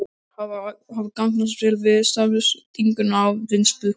Þær hafa gagnast vel við staðsetningu á vinnsluholum.